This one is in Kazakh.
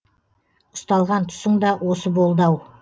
ұсталған тұсың да осы болды ау